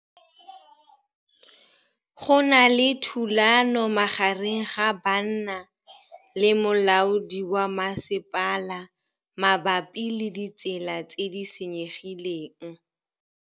Go na le thulanô magareng ga banna le molaodi wa masepala mabapi le ditsela tse di senyegileng.